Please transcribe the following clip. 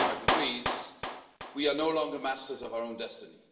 1.5 degrees, we are no longer masters of our own destiny.